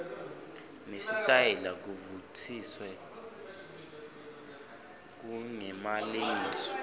nesitayela kuvutsiwe kungemalengiso